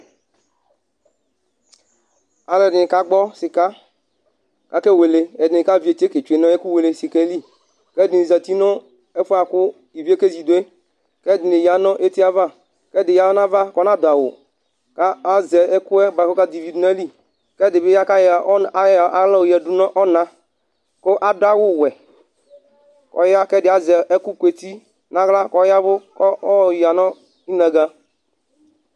aluedini kagbɔ sika ake wele edini kavietie ketsue nu ɛkũ wele sikae li kedini zati nũ ɛfũe akũ ivié kézidué k'edini yanũ étiava k'ɛya nava kɔnadu awʊ ka azɛ ɛkuɛ bua kɔkadivi dũ nayili k'ɛdibi ya kaya kaya ɔna kũ adu wuwuɛ kɔya k'ɛdi azɛ ɛkũ kueti na yla kɔyavu kɔ ɔya nũ inaga